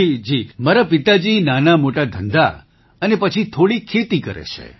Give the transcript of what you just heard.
જી મારા પિતાજી નાનામોટા ધંધા અને પછી થોડી ખેતી કરે છે